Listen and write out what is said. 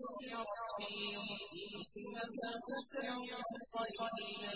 يُوحِي إِلَيَّ رَبِّي ۚ إِنَّهُ سَمِيعٌ قَرِيبٌ